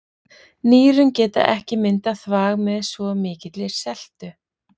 Nýrun geta ekki myndað þvag með svo mikilli seltu.